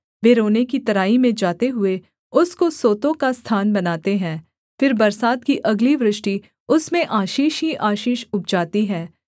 वे रोने की तराई में जाते हुए उसको सोतों का स्थान बनाते हैं फिर बरसात की अगली वृष्टि उसमें आशीष ही आशीष उपजाती है